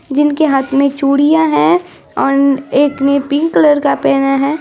जिनके हाथ मे चुडिया है ओर एक ने पिंक कलर का पेहेना है।